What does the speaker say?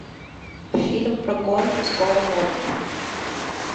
фильм про гонки с полом уокером